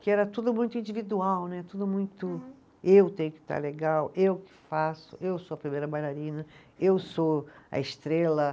Que era tudo muito individual né, tudo muito eu tenho que estar legal, eu que faço, eu sou a primeira bailarina, eu sou a estrela.